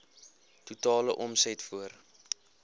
totale omset voor